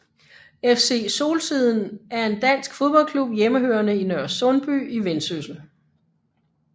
FC Solsiden er en dansk fodboldklub hjemmehørende i Nørresundby i Vendsyssel